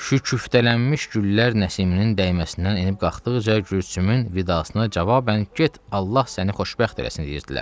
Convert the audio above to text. Şüküftələnmiş güllər Nəsiminin dəyməsindən enib-qalxdıqca Gülsümün vidasına cavabən get Allah səni xoşbəxt eləsin deyirdilər.